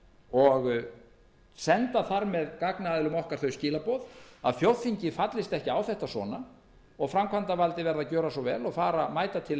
og senda þar með gagnaðilum okkar þau skilaboð að þjóðþingið fallist ekki á þetta svona og framkvæmdarvaldið verði að gjöra svo vel og mæta til